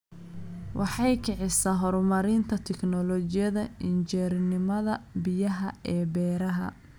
Waxay kicisaa horumarinta tignoolajiyada injineernimada biyaha ee beeraha.